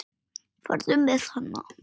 Farðu með hana.